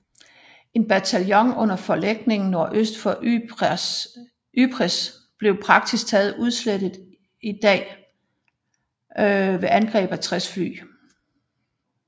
En bataljon under forlægning nordøst for Ypres blev praktisk taget udslettet i dag ved angreb med 60 fly